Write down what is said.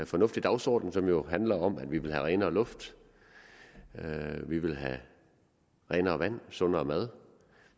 fornuftig dagsorden som jo handler om at vi vil have renere luft vi vil have renere vand sundere mad